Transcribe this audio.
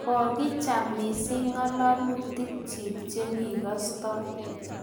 kokicham mising' ng'alalutikchich che kikastoi